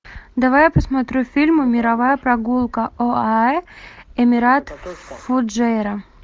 давай я посмотрю фильм мировая прогулка оаэ эмират фуджейра